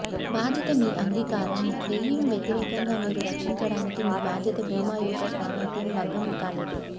బాధ్యత మీ అంగీకారం క్లెయిమ్ వ్యతిరేకంగా మీరు రక్షించడానికి మీ బాధ్యత భీమా యొక్క సామర్థ్యం భంగం కాలేదు